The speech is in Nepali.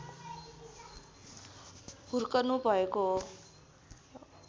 हुर्कनुभएको हो